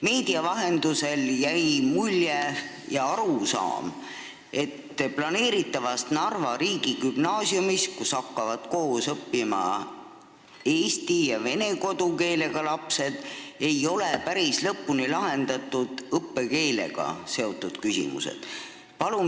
Meedia vahendusel on jäänud mulje, et planeeritavas Narva riigigümnaasiumis, kus hakkavad koos õppima eesti ja vene kodukeelega lapsed, ei ole päris lõpuni lahendatud õppekeelega seotud küsimused.